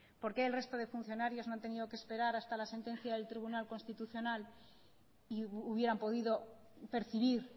por qué el resto de funcionarios no han tenido que esperar hasta la sentencia del tribunal constitucional y hubieran podido percibir